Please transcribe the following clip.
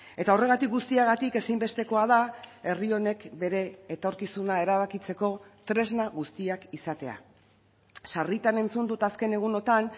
eta horregatik guztiagatik ezinbestekoa da herri honek bere etorkizuna erabakitzeko tresna guztiak izatea sarritan entzun dut azken egunotan